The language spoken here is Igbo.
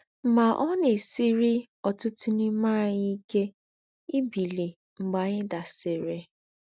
Mà, ọ̀ nà-èsírì ọ̀tútù n’ímè ànyí íké ìbílí mgbè ànyí dàsìrì.